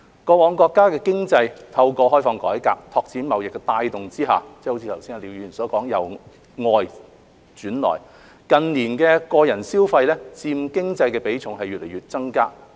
過往國家的經濟透過開放改革、拓展貿易的帶動下，就好像剛才廖議員所說，是由外轉內，近年個人消費佔經濟的比重不斷增加。